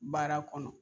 Baara kɔnɔ